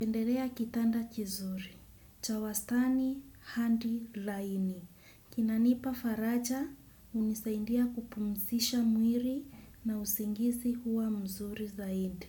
Napendelea kitanda kizuri cha wastani hadi laini. Kinanipa faraja hunisaindia kupumzisha mwili na usingizi huwa mzuri zaidi.